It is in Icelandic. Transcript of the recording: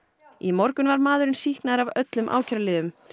í morgun var maðurinn sýknaður af öllum ákæruliðum